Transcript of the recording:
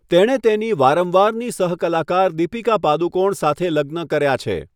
તેણે તેની વારંવારની સહકલાકાર દીપિકા પાદુકોણ સાથે લગ્ન કર્યા છે.